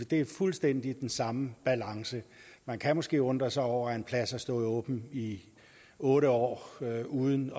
det er fuldstændig den samme balance man kan måske undre sig over at en plads har stået åben i otte år uden